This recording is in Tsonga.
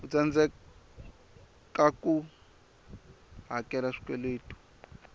a tsandzekaku ku hakela swikweletu